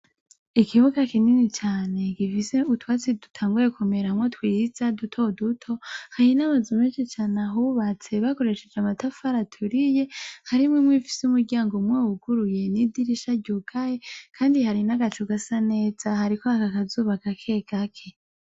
Ikibuga kinini cane gifise utwatsi dutanguye kumeramwo twiza duto duto, hari n'amazu menshi ahubatse bakoresheje amayafari aturiye, harimwo imwe ifise umuryango umwe wuguruye n'idirisha ryugaye, kandi hariho agacu gasa neza, hariko haka akazuba gake gake.